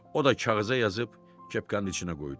O da kağıza yazıb kepkanın içinə qoydu.